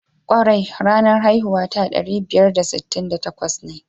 Kwarai ranar haihuwata ɗari biyar da sittin da takwas ne.